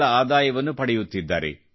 ಗಳ ಆದಾಯವನ್ನು ಪಡೆಯುತ್ತಿದ್ದಾರೆ